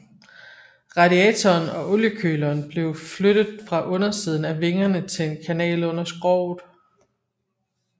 Radiatoren og oliekøleren blev flyttet fra undersiden af vingerne til en kanal under skroget